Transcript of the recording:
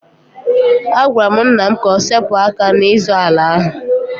Agwara m nna m ka o sepụ aka n'ịzọ ala ahụ.